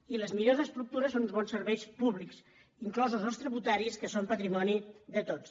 i les millors estructures són uns bons serveis públics inclosos els tributaris que són patrimoni de tots